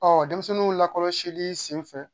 Ɔ denmisɛnninw lakɔlɔsili senfɛ